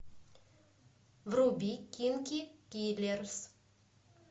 вруби кинки киллерс